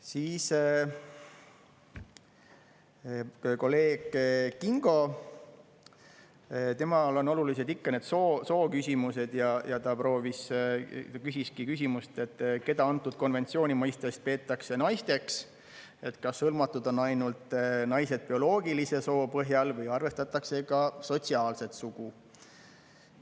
Siis kolleeg Kingo, temale on olulised ikka need sooküsimused ja ta küsiski küsimuse, et keda antud konventsiooni mõistes peetakse naisteks, kas hõlmatud on ainult naised bioloogilise soo põhjal või arvestatakse ka sotsiaalset sugu.